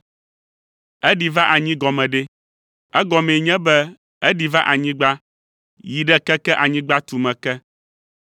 (“Eɖi va anyi” gɔme ɖe? Egɔmee nye be eɖi va anyigba, yi ɖe keke anyigba tume ke.